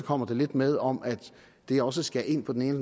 kommer der lidt med om at det også skal ind på den ene